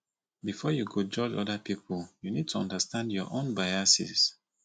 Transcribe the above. before you go judge oda pipo you need to understand your own biases